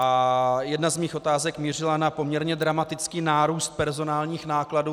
A jedna z mých otázek mířila na poměrně dramatický nárůst personálních nákladů.